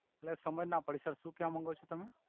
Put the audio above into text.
એટલે સમજ ના પડી સર સુ કેવા માન્ગો છો તમે